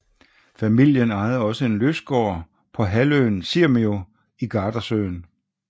Familien ejede også en lystgård på halvøen Sirmio i Gardasøen